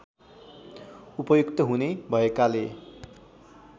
उपयुक्त हुने भएकाले